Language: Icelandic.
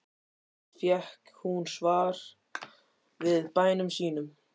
Alltaf fékk hún svar við bænum sínum.